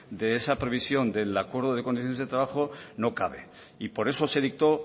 de esa previsión del acuerdo de condiciones de trabajo no cabe y por eso se dictó